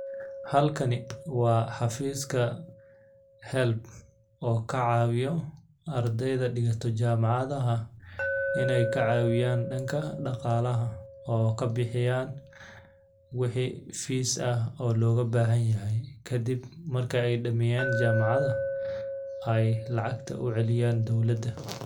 Halkani waa xafiiska HELB oo ka caawiyo ardayda dhigato jamacada inay ka caawiyaan dhanka dhaqaalaha oo ka bixiyaan waxi fees ah oo looga baahan yahay. Ka dib marka ay dhameeyaan jamacada ay lacagta u celiyaan dawladda.